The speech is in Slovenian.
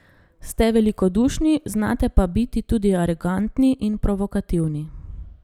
Ste velikodušni, znate pa biti tudi arogantni in provokativni.